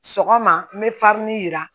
Sɔgɔma n bɛ yira